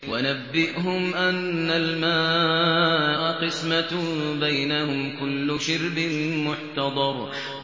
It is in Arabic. وَنَبِّئْهُمْ أَنَّ الْمَاءَ قِسْمَةٌ بَيْنَهُمْ ۖ كُلُّ شِرْبٍ مُّحْتَضَرٌ